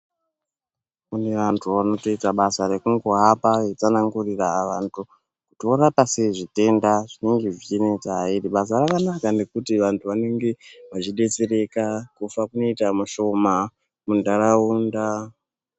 Kune vantu vanotoita basa rekungohamba veitsanangurira vantu kuti vorapa sei zvitenda zvinenge zvichinesa iri basa rakanaka nekuti vantu vanenge vachidetsereka kufa kunoita mushoma muntaraunda.